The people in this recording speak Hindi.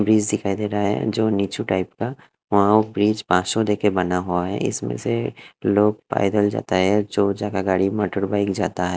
ब्रिज दिखाई दे रहा है जो टाइप का वहां हो ब्रिज देकर बना हुआ है इसमें से लोग पैदल जाता है जो जगह गाड़ी मोटर बाइक जाता है।